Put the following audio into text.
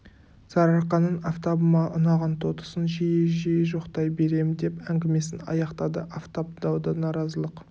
сарыарқаның афтабыма ұнаған тотысын жиі-жиі жоқтай берем деп әңгімесін аяқтады афтап дау да наразылық